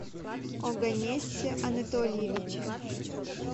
оганнесе анатольевиче